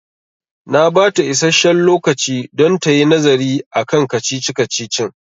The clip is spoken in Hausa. Na bata isasshen lokaci don tayi nazari akan kacici-kacicin